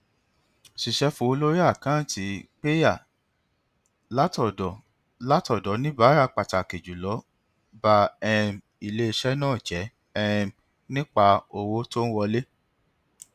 sísẹ fowó lórí àkántì pẹyà látọdọ látọdọ oníbàárà pàtàkì jùlọ ba um iléiṣẹ náà jẹ um nípa owó tó ń wọlé